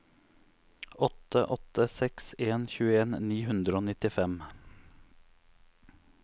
åtte åtte seks en tjueen ni hundre og nittifem